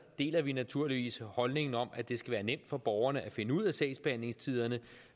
deler vi naturligvis holdningen om at det skal være nemt for borgerne at finde ud af sagsbehandlingstiderne